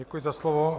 Děkuji za slovo.